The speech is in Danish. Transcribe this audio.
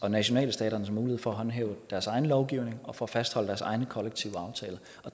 nationalstaternes mulighed for at håndhæve deres egen lovgivning og for at fastholde deres egne kollektive aftaler